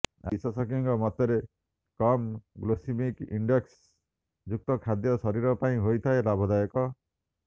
ଆଉ ବିଶେଷଜ୍ଞଙ୍କ ମତରେ କମ୍ ଗ୍ଲେସିମିକ୍ ଇଣ୍ଡେକ୍ସ ଯୁକ୍ତ ଖାଦ୍ୟ ଶରୀର ପାଇଁ ହୋଇଥାଏ ଲାଭଦାୟକ